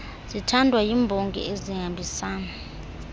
zithandwa yimbongi ezihambisana